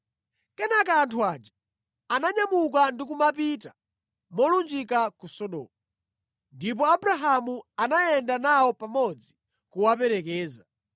Kenaka anthu aja ananyamuka ndi kumapita, molunjika ku Sodomu. Ndipo Abrahamu anayenda nawo pamodzi kuwaperekeza.